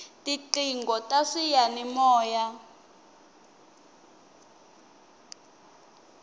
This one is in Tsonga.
tiqingho ta swiyani moya